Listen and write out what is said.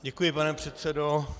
Děkuji, pane předsedo.